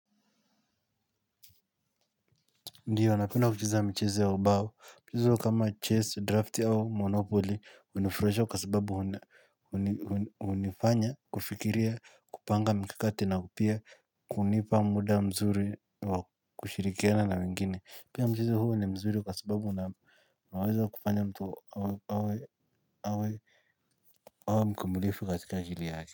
Ndio napenda kucheza michezo ya ubao, michezo kama chess, drafti au monopoly, hunifurahisha kwa sababu hunifanya, kufikiria, kupanga mikakati na pia, kunipa muda mzuri wa kushirikiana na wengine, pia mchezo huu ni mzuri kwa sababu unaweza kufanya mtu awe mkumbulifi katika jili haki.